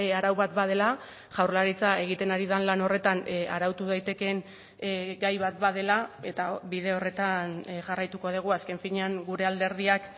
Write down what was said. arau bat badela jaurlaritza egiten ari den lan horretan arautu daitekeen gai bat badela eta bide horretan jarraituko dugu azken finean gure alderdiak